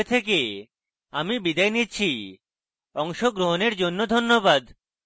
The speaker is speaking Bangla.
আই আই টী বোম্বে থেকে আমি বিদায় নিচ্ছি অংশগ্রহণের জন্য ধন্যবাদ